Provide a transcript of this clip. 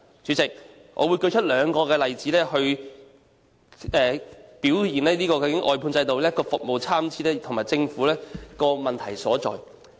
主席，我會列舉兩個例子指出外判制度令服務質素參差，以及政府的問題所在。